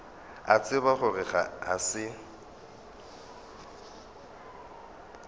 a tseba gore ga se